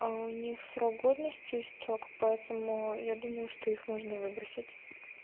а у них срок годности истёк поэтому я думаю что их можно выбросить